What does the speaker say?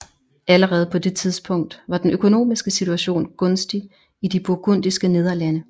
Allerede på det tidspunkt var den økonomiske situation gunstig i De burgundiske Nederlande